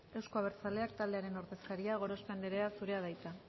euzko abertzaleak taldearen ordezkaria gorospe anderea zurea da hitza